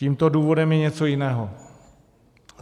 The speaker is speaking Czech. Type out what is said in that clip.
Tímto důvodem je něco jiného.